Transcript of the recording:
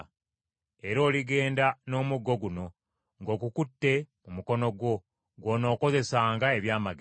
Era oligenda n’omuggo guno, ng’ogukutte mu mukono gwo; gw’onookozesanga ebyamagero.”